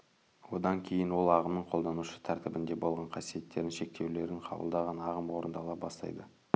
одан кейін ол ағымның қолданушы тәртібінде болған қасиеттерін шектеулерін қабылдаған ағым орындала бастайды